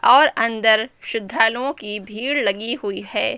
और अंदर श्रद्धालुओं की भीड़ लगी हुई है।